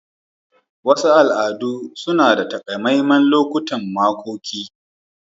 Wasu al'adu suna da takamaiman lokutan makoki.